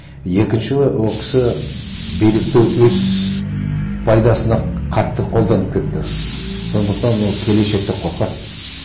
екінші ол кісі билікті өз пайдасына қатты қолданып кетті сондықтан ол келешекте қорқады